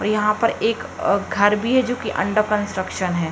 और यहाँ पर एक अ घर भी है जो कि अंडर कंस्ट्रक्शन है।